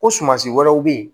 Ko sumansi wɛrɛw bɛ yen